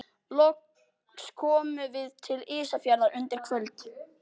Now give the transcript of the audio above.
Loks komum við til Ísafjarðar undir kvöld.